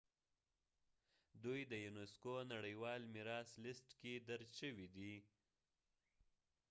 دوی د يونيسکو نړیوال میراث لیست کې درج شويدي